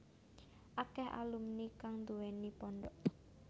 Akèh alumni kang nduwèni pondhok